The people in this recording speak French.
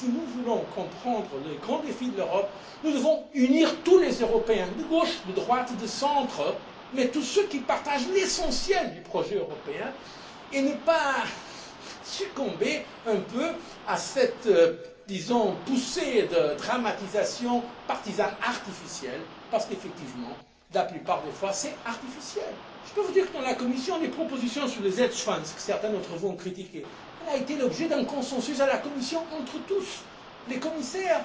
pour l'avenir. Si nous voulons comprendre les grands défis de l'Europe, nous devons unir tous les Européens de gauche, de droite, du centre, tous ceux qui partagent l'essentiel du projet européen, et ne pas succomber à cette poussée de dramatisation partisane artificielle, parce qu'effectivement, la plupart du temps, c'est artificiel. Je peux vous dire qu'à la Commission, les propositions sur les hedge funds que certains d'entre vous ont critiquées ont fait l'objet d'un consensus à la Commission entre tous